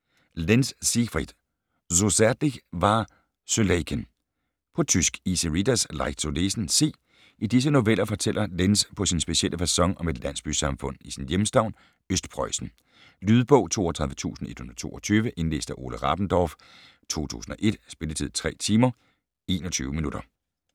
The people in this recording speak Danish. Lenz, Siegfried: So zärtlich war Suleyken På tysk. Easy readers; Leicht zu lesen. C. I disse noveller fortæller Lenz på sin specielle facon om et landsbysamfund i sin hjemstavn, Østpreussen. Lydbog 32122 Indlæst af Ole Rabendorf, 2001. Spilletid: 3 timer, 21 minutter.